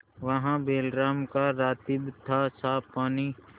वहाँ बैलराम का रातिब थासाफ पानी